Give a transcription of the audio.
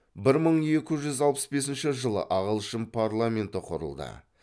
бір мың екі жүз алпыс бесінші жылы ағылшын парламенті құрылды